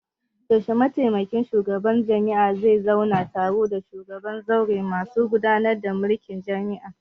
Yaushe mataimakin shugabar jami'ah zai zauna taro da shugaban zauren masu gudanar da mulkin jami'a?